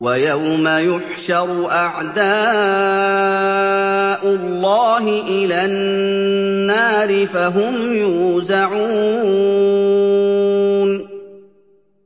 وَيَوْمَ يُحْشَرُ أَعْدَاءُ اللَّهِ إِلَى النَّارِ فَهُمْ يُوزَعُونَ